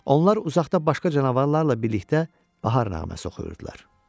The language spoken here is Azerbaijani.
Onlar uzaqda başqa canavarlarla birlikdə bahar nağməsi oxuyurdular.